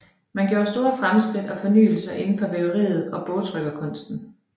Man gjorde store fremskridt og fornyelser inden for væveriet og bogtrykkerkunsten